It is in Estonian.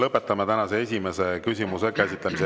Lõpetame tänase esimese küsimuse käsitlemise.